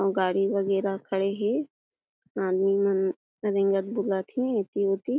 और गाड़ी वगेरा खड़े हे आदमी मन रेगंत बोलत हे एति वोति ।